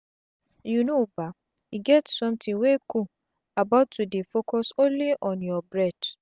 you know bah e get sometin wey cool about to dey focuse only on your breath